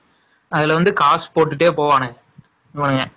அதுல வந்து காசு போட்டுட்டே போவாங்க இவனுங்க.